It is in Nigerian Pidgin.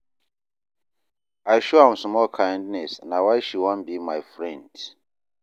I show am small kindness na why she wan be my friend.